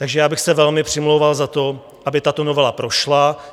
Takže já bych se velmi přimlouval za to, aby tato novela prošla.